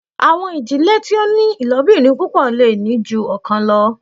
Awọn idile ti o ni ilobirin pupọ le ni ju ọkan lọ